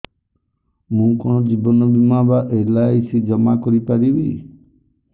ମୁ କଣ ଜୀବନ ବୀମା ବା ଏଲ୍.ଆଇ.ସି ଜମା କରି ପାରିବି